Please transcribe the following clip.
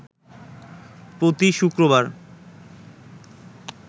প্রতি শুক্রবার